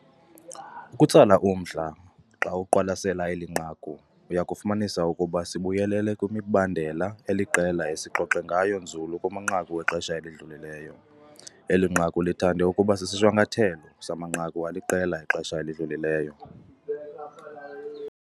Okutsala umdla, xa uqwalasela eli nqaku, uya kufumanisa ukuba sibuyelele kwimibandela eliqela esixoxe ngayo nzulu kumanqaku exesha elidlulileyo. Eli nqaku lithande ukuba sisishwankathelo samanqaku aliqela exesha elidlulileyo.